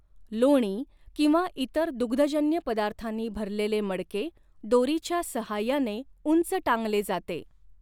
लोणी किंवा इतर दुग्धजन्य पदार्थांनी भरलेले मडके दोरीच्या सहाय्याने उंच टांगले जाते.